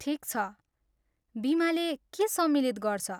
ठिक छ, बिमाले के सम्मिलित गर्छ?